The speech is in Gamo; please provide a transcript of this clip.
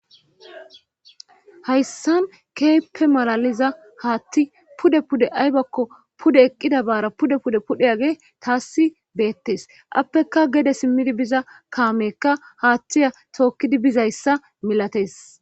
hayssan keeppe malaliza haatti pude pude aybakko pude eqqida baara pude pude pudhigey taassi beettes appeka gede simmidi biza kaamekka haattiya tookkidi bizayssa milates